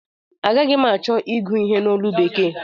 Agaghi m achọ ịgụ ihe a n'olu bekee